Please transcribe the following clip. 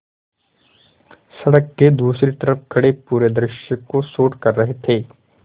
सड़क के दूसरी तरफ़ खड़े पूरे दृश्य को शूट कर रहे थे